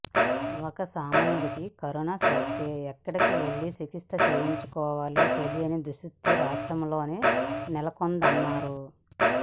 ఒక సామాన్యుడికి కరోనా సోకితే ఎక్కడికెళ్లి చికిత్స చేయించుకోవాలో తెలియని దుస్థితి రాష్ట్రంలో నెలకొందన్నారు